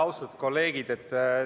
Austatud kolleegid!